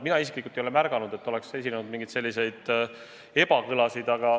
Mina isiklikult ei ole märganud, et oleks esinenud mingeid selliseid ebakõlasid.